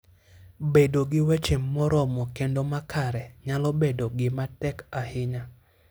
Bedo gi weche moromo kendo makare nyalo bedo gima tek ahinya.